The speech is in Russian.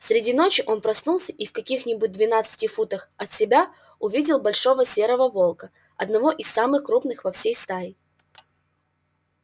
среди ночи он проснулся и в каких-нибудь двенадцати футах от себя увидел большого серого волка одного из самых крупных во всей стае